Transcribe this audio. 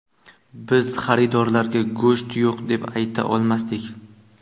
Biz xaridorlarga go‘sht yo‘q deb ayta olmasdik.